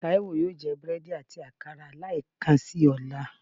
Taiwo yóò je búredì ati akara lẹẹkansi ọla.